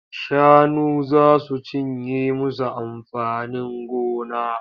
Shanu za su cinye musu amfanin gona.